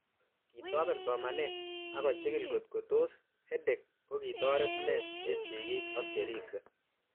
Kitopen somanet ako chikil kotko tos EdTech ko kitoret nee eng'sig'ik ak cheripsei